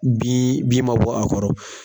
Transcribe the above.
Bi bi man bɔ a kɔrɔ.